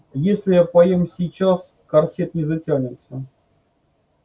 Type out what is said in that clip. если я поем сейчас корсет не затянется